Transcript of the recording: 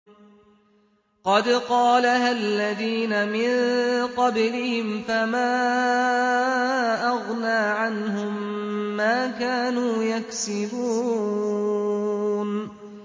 قَدْ قَالَهَا الَّذِينَ مِن قَبْلِهِمْ فَمَا أَغْنَىٰ عَنْهُم مَّا كَانُوا يَكْسِبُونَ